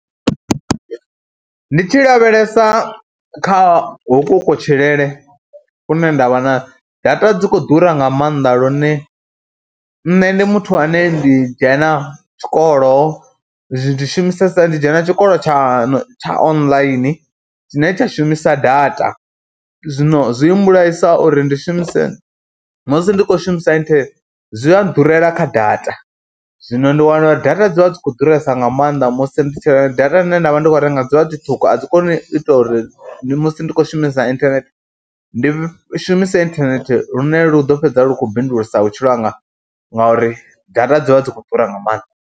Ndi tshi lavhelesa kha hoku kutshilele kune nda vha na, data dzi kho ḓura nga maanḓa lune nne ndi muthu ane ndi dzhena tshikolo, ndi shumisesa, ndi dzhena tshikolo tsha tsha online tshine tsha shumisa data. Zwino zwi mmbulaisa uri ndi shumise, musi ndi khou shumisa inthanethe zwi a nḓurela kha data, zwino ndi wana uri data dzi vha dzi khou ḓuresa nga maanḓa musi ndi tshi renga data dzine nda vha ndi khou renga dzivha dzi ṱhukhu, a dzi koni u ita uri. ndi musi ndi khou shumisa inthanethe ndi shumise inthanethe lune lu ḓo fhedza lu khou bindulisa vhutshilo hanga ngauri data dzi vha dzi khou ḓura nga maanḓa.